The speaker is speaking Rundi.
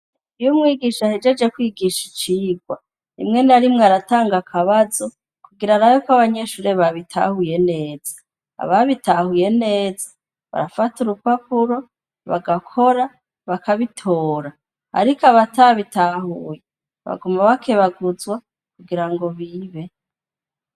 Iyo umwigisha ahejeje kwigisha icigwa, rimwe narimwe aratanga akabazo, kugira arabeko abanyeshure babitahuye neza. Ababitahuye neza , barafata urupapuro, bagakora, bakabitora. Ariko abatabitahuye, baguma bakebaguzwa kugira ngo bibe.